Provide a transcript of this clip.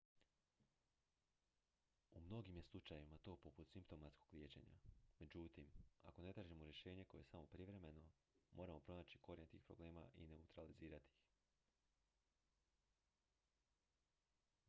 u mnogim je slučajevima to poput simptomatskog liječenja međutim ako ne tražimo rješenje koje je samo privremeno moramo pronaći korijen tih problema i neutralizirati ih